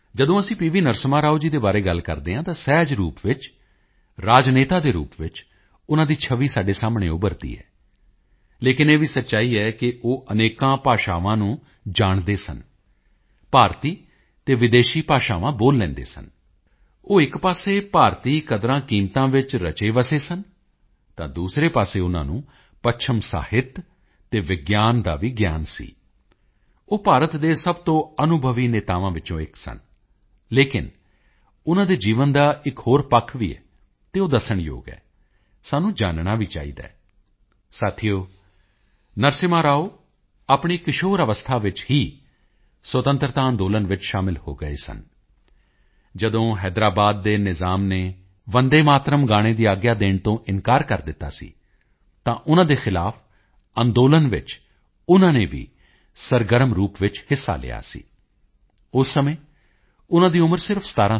ਨਰਸਿਮ੍ਹਾ ਰਾਓ ਜੀ ਦੇ ਬਾਰੇ ਗੱਲ ਕਰਦੇ ਹਾਂ ਤਾਂ ਸਹਿਜ ਰੂਪ ਵਿੱਚ ਰਾਜਨੇਤਾ ਦੇ ਰੂਪ ਵਿੱਚ ਉਨ੍ਹਾਂ ਦੀ ਛਵੀ ਸਾਡੇ ਸਾਹਮਣੇ ਉਭਰਦੀ ਹੈ ਲੇਕਿਨ ਇਹ ਵੀ ਸੱਚਾਈ ਹੈ ਕਿ ਉਹ ਅਨੇਕਾਂ ਭਾਸ਼ਾਵਾਂ ਨੂੰ ਜਾਣਦੇ ਸਨ ਭਾਰਤੀ ਅਤੇ ਵਿਦੇਸ਼ੀ ਭਾਸ਼ਾਵਾਂ ਬੋਲ ਲੈਂਦੇ ਸਨ ਉਹ ਇੱਕ ਪਾਸੇ ਭਾਰਤੀ ਕਦਰਾਂਕੀਮਤਾਂ ਵਿੱਚ ਰਚੇਵਸੇ ਸਨ ਤਾਂ ਦੂਸਰੇ ਪਾਸੇ ਉਨ੍ਹਾਂ ਨੂੰ ਪੱਛਮੀ ਸਾਹਿਤ ਅਤੇ ਵਿਗਿਆਨ ਦਾ ਵੀ ਗਿਆਨ ਸੀ ਉਹ ਭਾਰਤ ਦੇ ਸਭ ਤੋਂ ਅਨੁਭਵੀ ਨੇਤਾਵਾਂ ਵਿੱਚੋਂ ਇੱਕ ਸਨ ਲੇਕਿਨ ਉਨ੍ਹਾਂ ਦੇ ਜੀਵਨ ਦਾ ਇੱਕ ਹੋਰ ਪੱਖ ਵੀ ਹੈ ਅਤੇ ਉਹ ਦੱਸਣ ਯੋਗ ਹੈ ਸਾਨੂੰ ਜਾਨਣਾ ਵੀ ਚਾਹੀਦਾ ਹੈ ਸਾਥੀਓ ਨਰਸਿਮ੍ਹਾ ਰਾਓ ਆਪਣੀ ਕਿਸ਼ੋਰ ਅਵਸਥਾ ਵਿੱਚ ਹੀ ਸੁਤੰਤਰਤਾ ਅੰਦੋਲਨ ਵਿੱਚ ਸ਼ਾਮਿਲ ਹੋ ਗਏ ਸਨ ਜਦੋਂ ਹੈਦਰਾਬਾਦ ਦੇ ਨਿਜ਼ਾਮ ਨੇ ਵੰਦੇ ਮਾਤਰਮ ਗਾਣੇ ਦੀ ਆਗਿਆ ਦੇਣ ਤੋਂ ਇਨਕਾਰ ਕਰ ਦਿੱਤਾ ਸੀ ਤਾਂ ਉਨ੍ਹਾਂ ਦੇ ਖਿਲਾਫ ਅੰਦੋਲਨ ਵਿੱਚ ਉਨ੍ਹਾਂ ਨੇ ਵੀ ਸਰਗਰਮ ਰੂਪ ਵਿੱਚ ਹਿੱਸਾ ਲਿਆ ਸੀ ਉਸ ਸਮੇਂ ਉਨ੍ਹਾਂ ਦੀ ਉਮਰ ਸਿਰਫ 17 ਸਾਲ ਸੀ